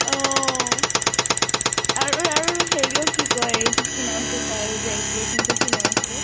অহ। আৰু আৰু হেৰিয়্ক কি কয়? কি নাম আছিলে তাৰ যে ex boy friend টো কি নাম আছিলে?